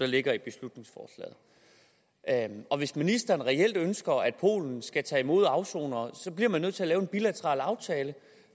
ligger i beslutningsforslaget og hvis ministeren reelt ønsker at polen skal tage imod afsonere bliver man nødt til at lave en bilateral aftale